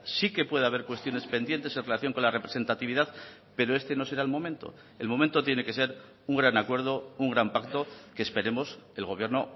sí que puede haber cuestiones pendientes en relación con la representatividad pero este no será el momento el momento tiene que ser un gran acuerdo un gran pacto que esperemos el gobierno